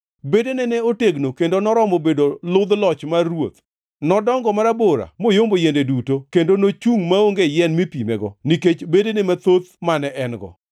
Bedene ne otegno, kendo noromo bedo ludh loch mar ruoth. Nodongo marabora moyombo yiende duto, kendo nochungʼ maonge yien mipimego nikech bedene mathoth mane en-go,